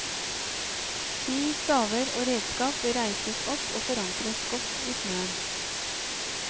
Ski, staver og redskap bør reises opp og forankres godt i snøen.